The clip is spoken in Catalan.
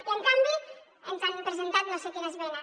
i en canvi ens han presentat no sé quina esmena